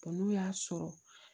n'u y'a sɔrɔ